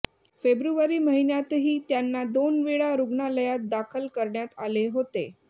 February महिन्यातही त्यांना दोन वेळा रुग्णालयात दाखल करण्यात आले होते